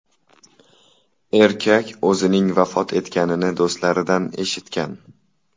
Erkak o‘zining vafot etganini do‘stlaridan eshitgan.